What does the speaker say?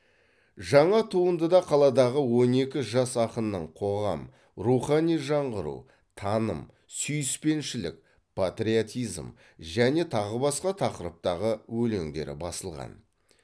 жаңа туындыда қаладағы он екі жас ақынның қоғам рухани жаңғыру таным сүйіспеншілік патриотизм және тағы басқа тақырыптағы өлеңдері басылған